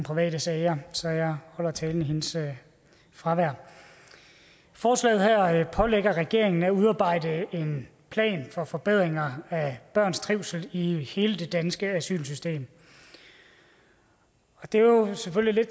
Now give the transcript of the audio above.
private sager så jeg holder talen i hendes fravær forslaget her pålægger regeringen at udarbejde en plan for forbedringer af børns trivsel i hele det danske asylsystem det er jo selvfølgelig